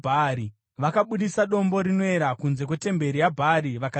Vakabudisa dombo rinoera kunze kwetemberi yaBhaari vakaripisa.